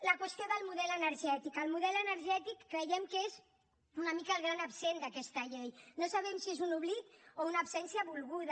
la qüestió del model energètic el model energètic creiem que és una mica el gran absent d’aquesta llei no sabem si és un oblit o una absència volguda